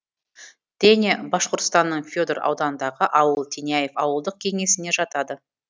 теня башқұртстанның федор ауданындағы ауыл теняев ауылдық кеңесіне жатады